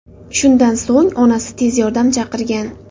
Shundan so‘ng onasi tez yordam chaqirgan.